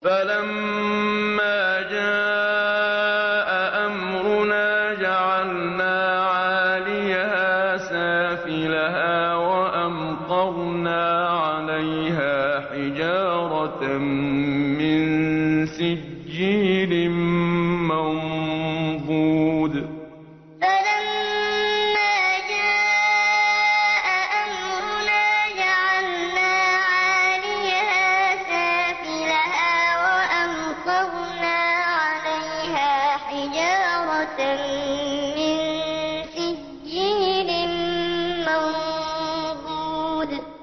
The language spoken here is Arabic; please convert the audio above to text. فَلَمَّا جَاءَ أَمْرُنَا جَعَلْنَا عَالِيَهَا سَافِلَهَا وَأَمْطَرْنَا عَلَيْهَا حِجَارَةً مِّن سِجِّيلٍ مَّنضُودٍ فَلَمَّا جَاءَ أَمْرُنَا جَعَلْنَا عَالِيَهَا سَافِلَهَا وَأَمْطَرْنَا عَلَيْهَا حِجَارَةً مِّن سِجِّيلٍ مَّنضُودٍ